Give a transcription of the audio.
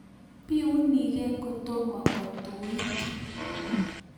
Biunikee kotomo kotuit